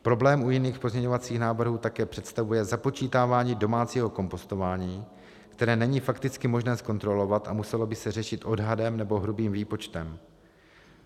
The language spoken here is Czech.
Problém u jiných pozměňovacích návrhů také představuje započítávání domácího kompostování, které není fakticky možné zkontrolovat a muselo by se řešit odhadem nebo hrubým výpočtem.